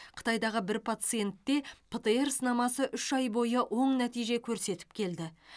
қытайдағы бір пациентте птр сынамасы үш ай бойы оң нәтиже көрсетіп келді